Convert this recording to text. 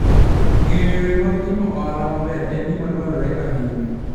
Ng'eyo yore mag timo ohala maber en gima dwarore ahinya.